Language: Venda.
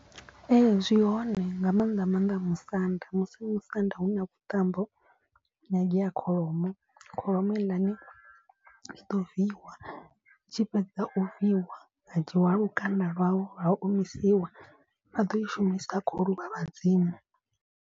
Ee zwi hone nga maanḓa maanḓa musanda musi musanda hu na vhuṱambo hu nyangea kholomo. Kholomo heiḽani i ḓo viiwa i tshi fhedza u viiwa ha dzhiiwa lukanda lwayo lwa omisiwa vha ḓo i shumisa khou luvha vhadzimu.